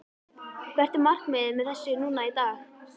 Hvert er markmiðið með þessu núna í dag?